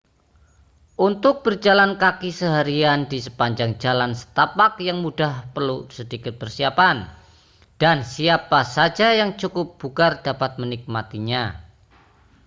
untuk berjalan kaki seharian di sepanjang jalan setapak yang mudah perlu sedikit persiapan dan siapa saja yang cukup bugar dapat menikmatinya